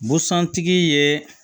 Busan tigi ye